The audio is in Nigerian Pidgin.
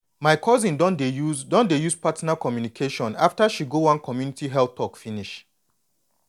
my cousin don dey use don dey use partner communication after she go one community health talk finish